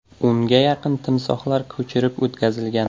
O‘nga yaqin timsohlar ko‘chirib o‘tkazilgan.